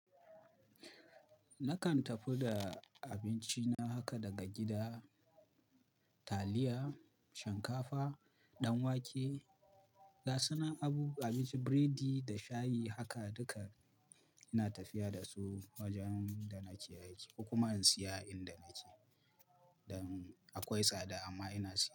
Nakan tafi da abinci na haka daga gida, taliya, shinkafa, ɗanwake, gasunan abu, abincin biredi da shayi haka duka ina tafiya da su wajen da nake aiki kuma in siya inda nake. Dan akwai tsada amma ina siya.